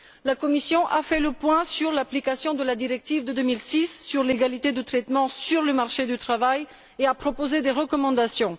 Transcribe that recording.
La Commission a fait le point sur l'application de la directive de 2006 sur l'égalité de traitement dans le marché du travail et a proposé des recommandations.